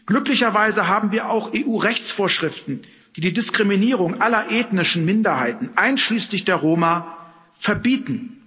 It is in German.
Glücklicherweise haben wir auch EU Rechtsvorschriften, die die Diskriminierung aller ethnischen Minderheiten, einschließlich der Roma, verbieten.